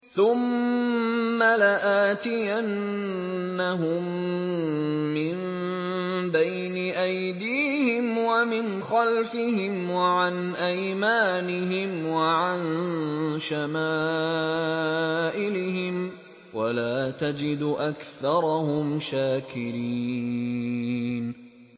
ثُمَّ لَآتِيَنَّهُم مِّن بَيْنِ أَيْدِيهِمْ وَمِنْ خَلْفِهِمْ وَعَنْ أَيْمَانِهِمْ وَعَن شَمَائِلِهِمْ ۖ وَلَا تَجِدُ أَكْثَرَهُمْ شَاكِرِينَ